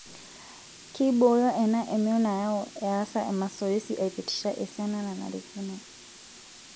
Keibooyo ena emion nayau easa emasoesi aipitisha esiana nanarikino.